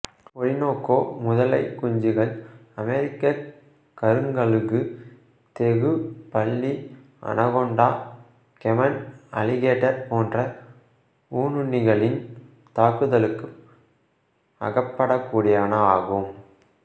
Orinoco முதலைக் குஞ்சுகள் அமெரிக்கக் கருங்கழுகு தேகு பல்லி அனக்கொண்டா கேமன் அல்லிகேட்டர் போன்ற ஊனுண்ணிகளின் தாக்குதலுக்கு அகப்படக்கூடியனவாகும்